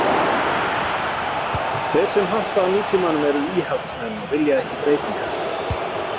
Þeir sem hampa nútímanum eru íhaldsmenn og vilja ekki breytingar.